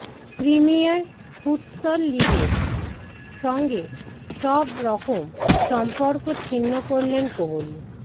premier futsal লিগের সঙ্গে সবরকম সম্পর্ক ছিন্ন করলেন কোহলি